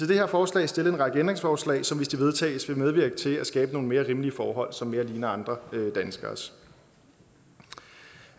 det her forslag stillet en række ændringsforslag som hvis de vedtages vil medvirke til at skabe nogle mere rimelige forhold som mere ligner andre danskeres